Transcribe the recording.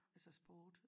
Altså sport